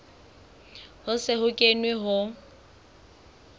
ho se ho kenwe ho